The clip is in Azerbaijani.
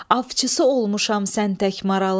Avçısı olmuşam sən tək maralın.